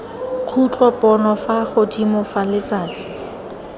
khutlopono fa godimo fa letsatsi